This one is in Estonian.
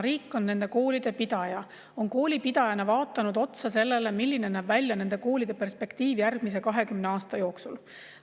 Riik on nende koolide pidaja ja koolipidaja on vaadanud otsa sellele, milline näeb välja nende koolide perspektiiv järgmise 20 aasta jooksul.